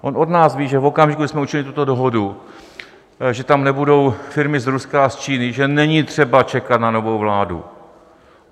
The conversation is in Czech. On od nás ví, že v okamžiku, kdy jsme učinili tuto dohodu, že tam nebudou firmy z Ruska a z Číny, že není třeba čekat na novou vládu.